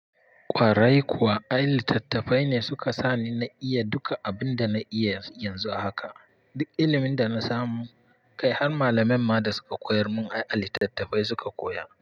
Kwarai kuwa, ai litattafai ne suka sani na iya duka abin da na iya yanzu haka. Duk ilimin da na samu, kai har malamai ma da suka koyar mun ai a litattafai suka koya.